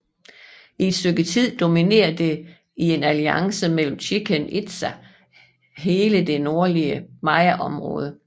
I et stykke tid dominerede det i en alliance med Chichen Itza hele det nordlige mayaområde